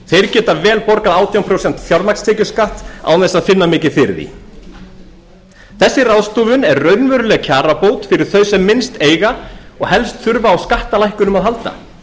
þeir geta vel borgað átján prósent fjármagnstekjuskatt án þess að finna mikið fyrir því þessi ráðstöfun er raunveruleg kjarabót fyrir þá sem minnst eiga og helst þurfa á skattalækkunum að halda